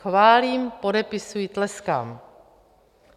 Chválím, podepisuji, tleskám.